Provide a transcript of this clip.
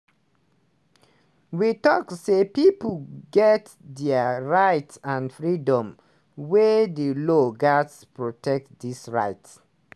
wey tok say pipo get dia rights and freedoms wey di law gatz protect dis rights.